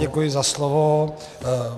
Děkuji za slovo.